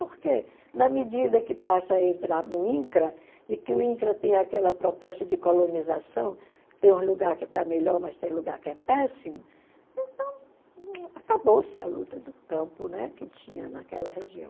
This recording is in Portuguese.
Porque, na medida que passa a entrar no INCRA, e que o INCRA tem aquela proposta de colonização, tem um lugar que está melhor, mas tem um lugar que é péssimo, então, acabou-se a luta do campo que tinha naquela região.